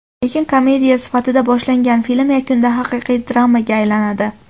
Lekin komediya sifatida boshlangan film yakunda haqiqiy dramaga aylanadi.